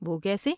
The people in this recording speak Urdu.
وہ کیسے؟